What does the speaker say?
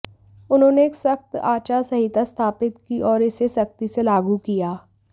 उन्होंने एक सख्त आचार संहिता स्थापित की और इसे सख्ती से लागू किया